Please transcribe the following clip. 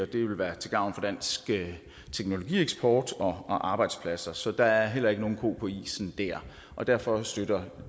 det vil være til gavn for dansk teknologieksport og arbejdspladser så der er heller ikke nogen ko på isen dér derfor støtter